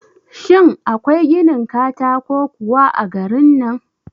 Shin akwai ginin katako kuwa a garin nan?